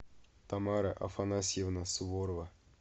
тамара афанасьевна суворова